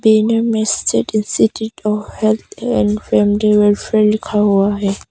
Indian institute of health and family welfare लिख हुआ है।